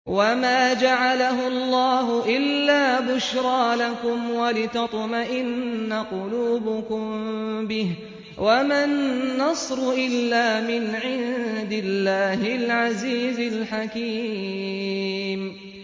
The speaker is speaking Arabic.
وَمَا جَعَلَهُ اللَّهُ إِلَّا بُشْرَىٰ لَكُمْ وَلِتَطْمَئِنَّ قُلُوبُكُم بِهِ ۗ وَمَا النَّصْرُ إِلَّا مِنْ عِندِ اللَّهِ الْعَزِيزِ الْحَكِيمِ